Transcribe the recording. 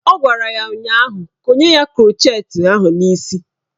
Ọ gwara ya ụnyaahụ "Konye ya krọchet ahụ n'isi "